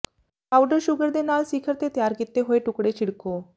powder sugar ਦੇ ਨਾਲ ਸਿਖਰ ਤੇ ਤਿਆਰ ਕੀਤੇ ਹੋਏ ਟੁਕੜੇ ਛਿੜਕੋ